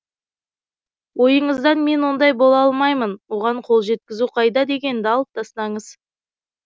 ойыңыздан мен ондай бола алмаймын оған қол жеткізу қайда дегенді алып тастаңыз